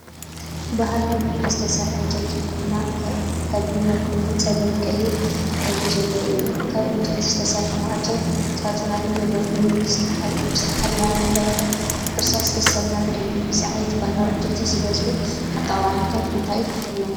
ባህላዊ ብኢድ ዝተሰርሐ ዕንጨይቲ ኩርናዕ ካቢነ ኮይኑ ጸሊም ቀይሕ ሕብሪ ዘለዎ እዩ። ካብ ዕንጨይቲ ዝተሰርሐ ማዕጾን ሳጹናትን ዘለዎ ኮይኑ፡ ብዝተሓላለኸ ቅርጻታት ዝተሰለመ እዩ። እዚ ዓይነት ባህላዊ ዕንጨይቲ ዝበዝሑ ኣጠቓቕማታት እንታይ እዮም?